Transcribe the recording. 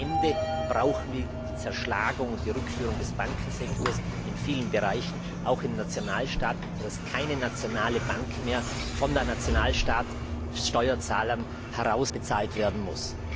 Das heißt, am Ende brauchen wir die Zerschlagung und die Rückführung des Bankensektors in vielen Bereichen auch im Nationalstaat, sodass keine nationale Bank mehr von den nationalen Steuerzahlern herausbezahlt werden muss.